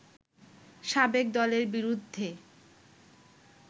সাবেক দলের বিরুদ্ধে